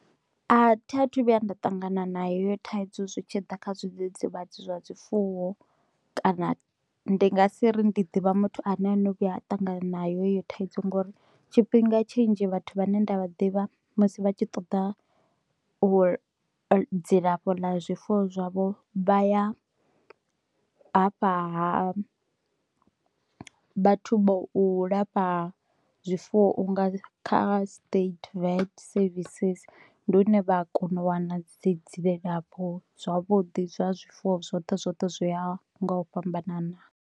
A thi a thu vhuya nda ṱangana nayo heyo thaidzo zwi tshi ḓa kha zwidzidzivhadzi zwa zwifuwo kana ndi nga si ri ndi ḓivha muthu ane a vhuya a ṱangana nayo thaidzo ngori tshifhinga tshinzhi vhathu vhane nda vha ḓivha musi vha tshi ṱoḓa u dzilafho ḽa zwifuwo zwavho vha ya hafha ha vhathu vha u lafha zwifuwo unga kha state vat services, ndi hu ne vha a kona u wana dzi dzilafho zwavhuḓi zwa zwifuwo zwoṱhe zwoṱhe zwi ya nga u fhambanana..